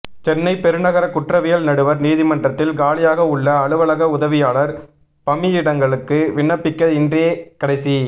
சென்னை பெருநகர குற்றவியல் நடுவர் நீதிமன்றத்தில் காலியாக உள்ள அலுவலக உதவியாளர் பமியிடங்களுக்கு விண்ணப்பிக்க இன்றே கடைசி